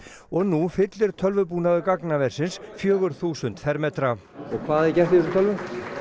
og nú fyllir tölvubúnaður gagnaversins fjögur þúsund fermetra og hvað er gert í þessum tölvum